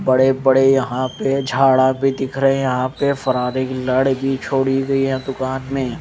बड़े बड़े यहां पे झाड़ा भी दिख रहे हैं यहां पे फरारी के लड भी छोड़ी गई है दुकान में--